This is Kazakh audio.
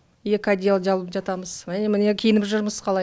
екі одеяло жамылып жатамыз міне киініп жүрміз қалай